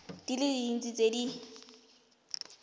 di le dintsi tse di